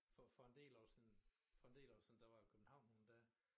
For for en del år siden for en dle år siden der var jeg i København nogen dage